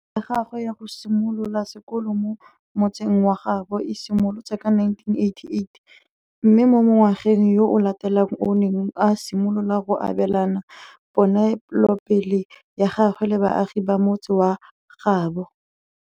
Toro ya gagwe ya go simolola sekolo mo motseng wa gaabo e simolotse ka 1988, mme mo ngwageng yo o latelang o ne a simolola go abelana ponelopele ya gagwe le baagi ba motse wa gaabo.